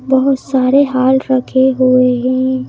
बहुत सारे हाल रखे हुए हैं।